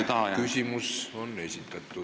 ... on nüüd õieti täiesti tagaplaanile jäänud.